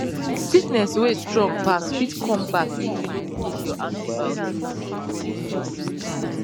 sickness wey strong pass fit come back if you no finish your antibiotics